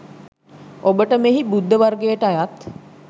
ඔබට මෙහි බුද්ධ වර්ගයට අයත්